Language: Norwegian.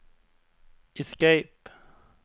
escape